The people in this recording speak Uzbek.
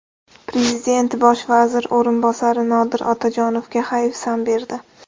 Prezident bosh vazir o‘rinbosari Nodir Otajonovga hayfsan berdi.